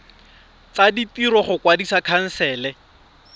tsa ditiro go kwadisa khansele